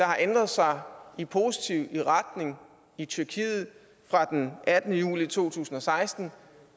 har ændret sig i positiv retning i tyrkiet fra den attende juli to tusind og seksten